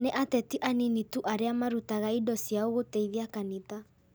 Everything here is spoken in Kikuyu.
Nĩ ateti anini tu arĩa marutaga indo ciao gũteithia kanitha